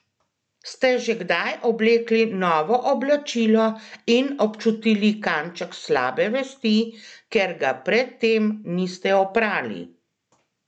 Ste že kdaj oblekli novo oblačilo in občutili kanček slabe vesti, ker ga pred tem niste oprali?